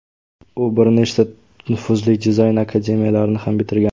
U bir nechta nufuzli dizayn akademiyalarini ham bitirgan.